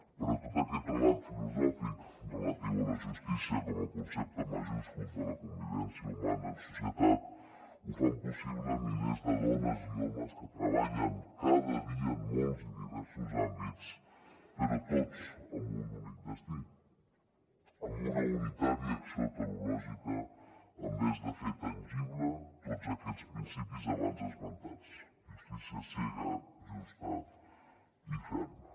però tot aquest relat filosòfic relatiu a la justícia com a concepte majúscul de la convivència humana en societat el fan possible milers de dones i homes que treballen cada dia en molts i diversos àmbits però tots amb un únic destí amb una unitat i acció teleològica envers de fer tangible tots aquests principis abans esmentats justícia cega justa i ferma